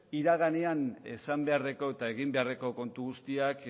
iraganean esan beharreko eta eginbeharreko kontu guztiak